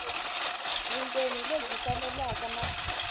vundzeni hi lebyi faneleke na